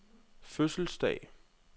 fødselsdag